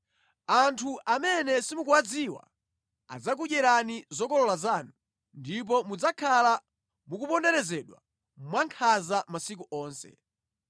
Anthu amene simukuwadziwa adzakudyerani zokolola zanu, ndipo mudzakhala mukuponderezedwa mwankhanza masiku onse.